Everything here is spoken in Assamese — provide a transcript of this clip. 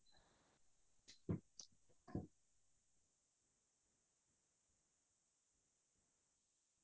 মই বিশেষ কৈ জুবিন দাৰ গান প্ৰবিন দাৰ গান শুনিয়ে ভাল পাওঁ